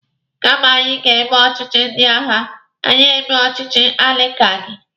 Kama anyị ga-eme ọchịchị ndị agha, ka anyị mee ọchịchị aligaki.